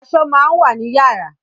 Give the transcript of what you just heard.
Aṣọ máa ń wà ni yàrá